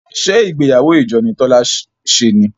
ṣe ìgbéyàwó ìjọ ni Tola ṣe ní?